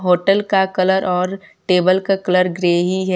Hotel का colour और table का कलर ग्रे ही है।